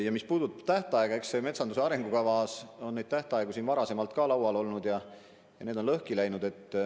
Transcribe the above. Ja mis puudutab tähtaega, siis metsanduse arengukavaga seotud tähtaegu on varem laual olnud, aga need on lõhki läinud.